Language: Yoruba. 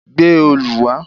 Gbé òòlù wà!